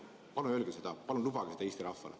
Palun lubage seda Eesti rahvale!